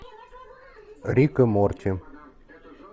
рик и морти